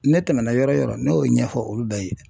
Ne tɛmɛna yɔrɔ yɔrɔ ne y'o ɲɛfɔ olu bɛɛ ye.